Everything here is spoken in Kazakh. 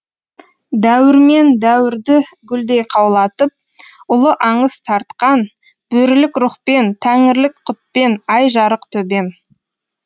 дәуірмен дәуірді гүлдей қаулатып ұлы аңыз тартқан бөрілік рухпен тәңірлік құтпен ай жарық төбем